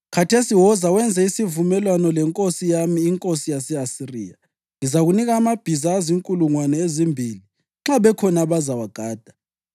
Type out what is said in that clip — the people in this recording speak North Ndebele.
Khathesi woza wenze isivumelwano lenkosi yami, inkosi yase-Asiriya: Ngizakunika amabhiza azinkulungwane ezimbili nxa bekhona abazawagada!